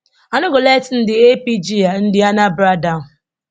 i no go let ndi apga and ndi anambra down